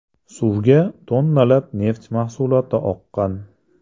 Suvga tonnalab neft mahsuloti oqqan.